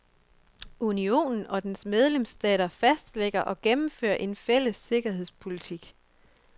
Unionen og dens medlemsstater fastlægger og gennemfører en fælles sikkerhedspolitik.